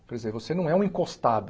Quer dizer, você não é um encostado.